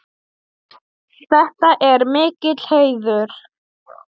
Þetta er mikill heiður.